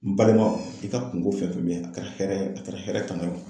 N balimaw i ka kungo fɛn fɛn tun bɛ yen, a kɛra hɛrɛ ye wo, a kɛra hɛrɛ tanna ye wo